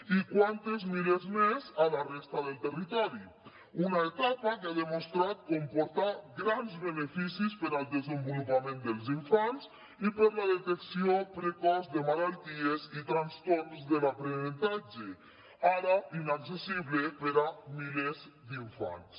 i quants milers més a la resta del territori una etapa que ha demostrat comportar grans beneficis per al desenvolupament dels infants i per a la detecció precoç de malalties i trastorns de l’aprenentatge ara inaccessible per a milers d’infants